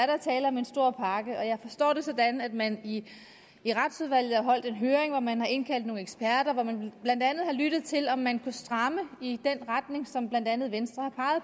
der tale om en stor pakke og jeg forstår det sådan at man i retsudvalget har holdt en høring hvor man har indkaldt nogle eksperter hvor man blandt andet har lyttet til om man kunne stramme i den retning som blandt andet venstre har